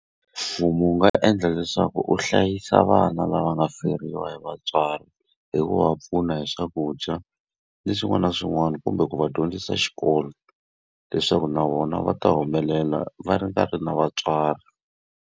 Mfumo wu nga endla leswaku wu hlayisa vana lava nga feriwa hi vatswari hi ku va pfuna hi swakudya, ni swin'wana na swin'wana. Kumbe ku va dyondzisa xikolo leswaku na vona va ta humelela va nga ri na vatswari.